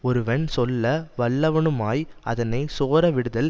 ஒருவன் சொல்ல வல்லவனுமாய் அதனை சோர விடுதலும்